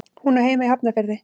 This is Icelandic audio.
Hún á heima í Hafnarfirði.